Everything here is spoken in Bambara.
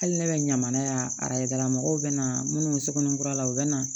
Hali ne bɛ ɲamana yan arajola mɔgɔw bɛ na minnu sonkɔnin kura la u bɛ na